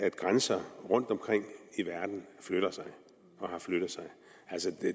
at grænser rundtomkring i verden flytter sig og har flyttet sig